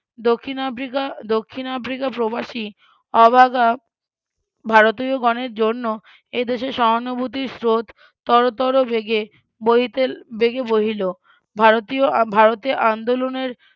দক্ষিণ আফ্রিকা দক্ষিন আফ্রিকা প্রবাসী অভাগা ভারতীয়গণের জন্য এদেশে সহানুভূতির স্রোত তর তর বেগে বহিতে বেগে বহিল ভারতীয় ভারতে আন্দোলনের